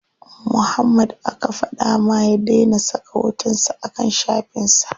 Muhammad aka fada ma ya dai na saka hoton sa a kan shafin sa.